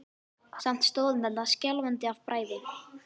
Samt stóð hann þarna skjálfandi af bræði.